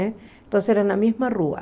Então era na mesma rua.